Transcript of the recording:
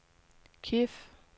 Kiev